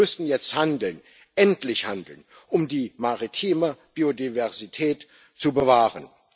Wir müssen jetzt endlich handeln, um die maritime Biodiversität zu bewahren.